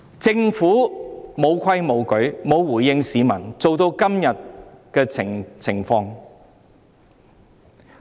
政府"無規無矩"，沒有回應市民，弄至今天的境地。